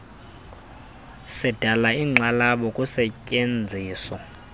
sidala inkxalabo kusetyenziso